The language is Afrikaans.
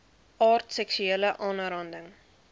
aard seksuele aanranding